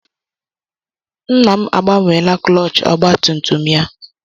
Nna m agbanweela klọọch ọgba tum tum ya.